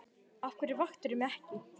Af hverju vaktirðu mig ekki?